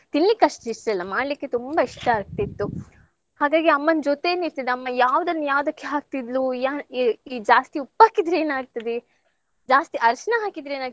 ತಿನ್ಲಿಕ್ಕ್ ಅಷ್ಟ್ ಇಷ್ಟ ಇಲ್ಲ ಮಾಡ್ಲಿಕ್ಕೆ ತುಂಬಾ ಇಷ್ಟ ಆಗ್ತಿತ್ತು ಹಾಗಾಗಿ ಅಮ್ಮನ್ ಜೊತೇನೆ ಇರ್ತಿದ್ದೆ ಅಮ್ಮ ಯಾವುದನ್ನ್ ಯಾವದಕ್ಕ್ ಹಾಕ್ತಿದ್ಲು ಯಾ~ ಏ~ ಜಾಸ್ತಿ ಉಪ್ಪ್ ಹಾಕಿದ್ರೆ ಏನ್ ಆಗ್ತದೆ, ಜಾಸ್ತಿ ಅರ್ಶ್ನ ಹಾಕಿದ್ರೆ ಏನ್ ಆಗ್ತದೆ